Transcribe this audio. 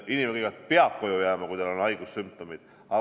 Inimene kõigepealt peab koju jääma, kui tal on haigussümptomid.